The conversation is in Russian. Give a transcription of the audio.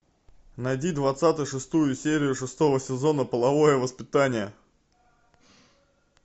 найди двадцать шестую серию шестого сезона половое воспитание